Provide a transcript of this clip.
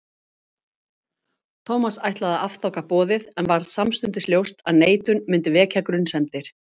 Thomas ætlaði að afþakka boðið en varð samstundis ljóst að neitun myndi vekja grunsemdir.